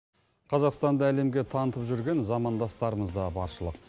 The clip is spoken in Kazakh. қазақстанды әлемге танытып жүрген замандастарымыз да баршылық